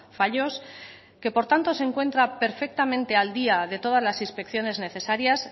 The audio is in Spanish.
fallos que por tanto se encuentra perfectamente al día de todas las inspecciones necesarias